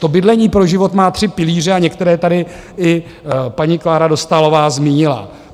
To Bydlení pro život má tři pilíře a některé tady i paní Klára Dostálová zmínila.